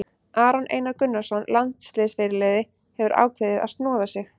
Aron Einar Gunnarsson, landsliðsfyrirliði, hefur ákveðið að snoða sig.